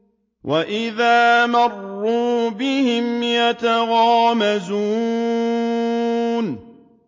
وَإِذَا مَرُّوا بِهِمْ يَتَغَامَزُونَ